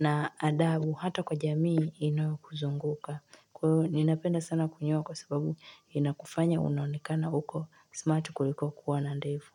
na adabu hata kwa jamii inayo kuzunguka. Kwa hivo ninapenda sana kunyoa kwa sababu inakufanya unaonekana huko smart kuliko kuwa na ndevu.